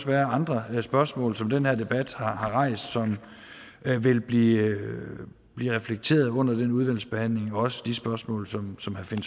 være andre spørgsmål som den her debat har rejst som vil blive blive reflekteret under den udvalgsbehandling også de spørgsmål som